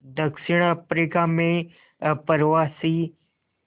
दक्षिण अफ्रीका में अप्रवासी